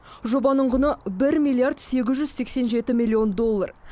жобаның құны бір миллиард сегіз жүз сексен жеті миллион доллар